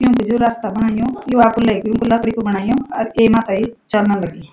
युंकू जु रस्ता बणयू यु अपु लेक लकड़ी कु बणायु आर एमा थेई चलन लगीं।